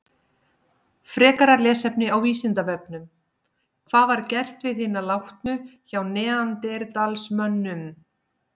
Frekara lesefni á Vísindavefnum: Hvað var gert við hina látnu hjá neanderdalsmönnum?